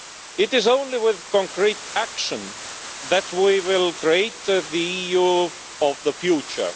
It is only with concrete action that we will create the EU of the future.